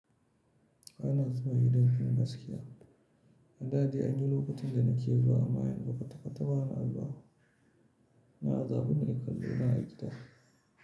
Ba na zuba idon ki gaskiya. Da dai an yi lokacin da na ke zuwa amman yanzu kwata kwata, bana zuwa. Na azabun ai kallo na a gida.